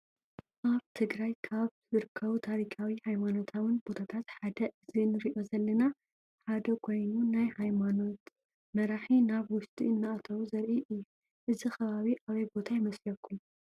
አብ ትግራይ ካበ ዝርከቡ ታሪካዊ ሃይማኖታውን ቦታታት ሓደ እዚ እንሪኦ ዘለና ሓደ ኮይኑ ናይ ሃየማኖይት መራሒ ናብ ውሽጢ እናአተው ዘሪኢ እዩ። እዚ ከባቢ አብይ ቦታ ይመስለኩም?